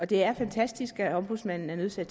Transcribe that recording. det er fantastisk at ombudsmanden er nødt til at